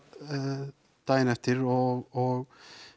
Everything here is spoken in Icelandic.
daginn eftir og